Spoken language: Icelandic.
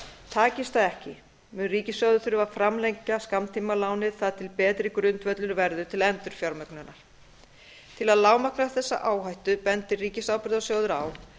takist það ekki mun ríkissjóður þurfa að framlengja skammtímalánið þar til betri grundvöllur verður til endurfjármögnunar til að lágmarka þessa áhættu bendir ríkisábyrgðasjóður á